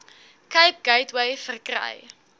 cape gateway verkry